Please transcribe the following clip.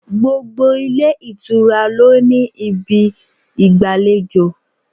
Gbogbo ilé ìtura lo ní ibi igbalejo.